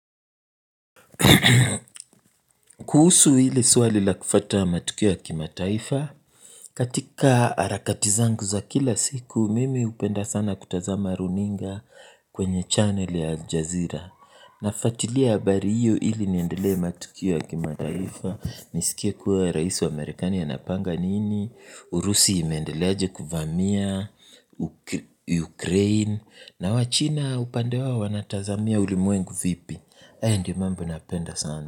Kuhusu ile swali la kufuata matukio ya kimataifa katika harakati zangu za kila siku mimi upenda sana kutazama runinga kwenye channel ya aljazeera nafuatilia habari hiyo ili niendelee matukio ya kimataifa nisikie kuwa rais wa amerikani anapanga nini Urusi imeendeleaje kuvamia Ukraine na wachina upande wao wanatazamia ulimwengu vipi hayo ndio mambo napenda sana.